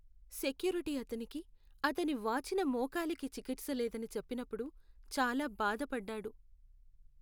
Security అతనికి, అతని వాచిన మోకాలికి చికిత్స లేదని చెప్పినప్పుడు చాలా బాధపడ్డాడు.